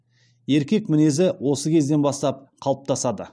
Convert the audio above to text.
еркек мінезі осы кезден бастап қалыптасады